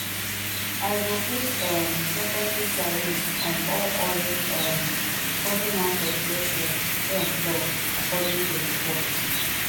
i go put um secondary tariffs on all oil um coming out of russia trump tok according to reports